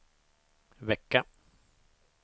vecka